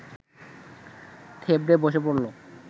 থেবড়ে বসে পড়ল